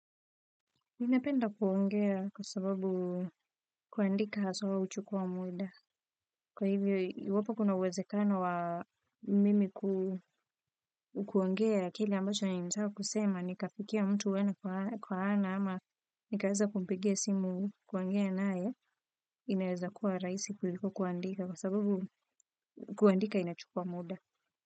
Ninapenda kuongea kwa sababu kuandika haswa huchukua muda. Kwa hivyo, iwapo kuna uwezekano wa mimi kuongea kile ambacho ninataka kusema nikafikia mtu ana kwa ana ama nikaweza kumpigia simu kuongea naye inaweza kuwa rahisi kuliko kuandika kwa sababu kuandika inachukua muda.